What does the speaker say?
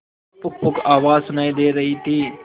पुकपुक आवाज सुनाई दे रही थी